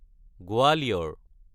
Gwalior